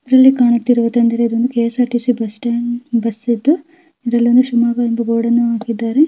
ಇಲ್ಲಿ ಕಾಣುತಿಯಿರುವುದು ಏನಂದರೆ ಇದೊಂದು ಕೆಎಸಆರ್ಸಿಟಿಸಿ ಬಸ್ ಸ್ಟಾಂಡ್ ಬಸ್ ಇದು ಇದರಲ್ಲಿ ಒಂದು ಶಿಮೊಗ್ಗ ಎಂಬ ಬೋರ್ಡ್ ಅನ್ನು ಹಾಕಿದ್ದಾರೆ.